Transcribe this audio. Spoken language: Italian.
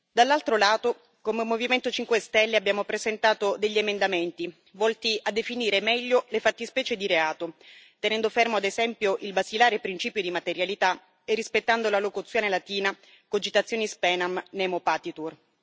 Dall'altro lato, come Movimento 5 Stelle abbiamo presentato degli emendamenti volti a definire meglio le fattispecie di reato, tenendo fermo ad esempio il basilare principio di materialità e rispettando la locuzione latina cogitationis poenam nemo patitur